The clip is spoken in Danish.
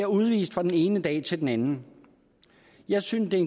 udvist fra den ene dag til den anden jeg synes det er